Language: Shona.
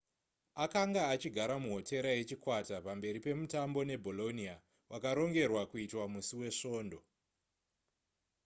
akanga achigara muhotera yechikwata pamberi pemutambo nebolonia wakarongerwa kuitwa musi wesvondo